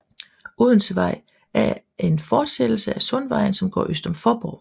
Odensevej er en er en forsættelse af Sundvejen som går øst om Faaborg